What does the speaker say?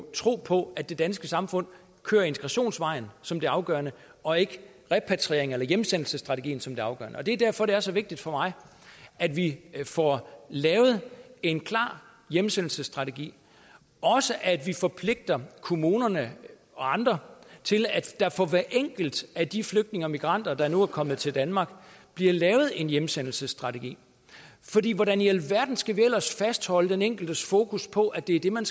tro på at det danske samfund kører integrationsvejen som det afgørende og ikke repatriering eller hjemsendelsesstrategien som det afgørende det er derfor det er så vigtigt for mig at vi får lavet en klar hjemsendelsesstrategi og at vi forpligter kommunerne og andre til at der for hver enkelt af de flygtninge og migranter der nu er kommet til danmark bliver lavet en hjemsendelsesstrategi hvordan i alverden skal vi ellers fastholde den enkeltes fokus på at det er det man